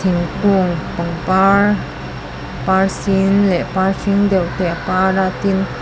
thingkung pangpar par sin leh par hring deuh te a par a tin--